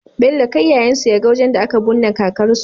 Bello kai yayan su yaga wajan da aka bunne kakar su